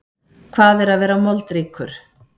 Hvað er að vera moldríkur?